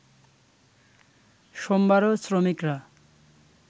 সোমবারও শ্রমিকরা